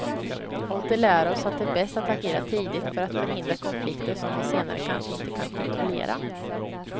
Och det lär oss att det är bäst att agera tidigt för att förhindra konflikter som vi senare kanske inte kan kontrollera.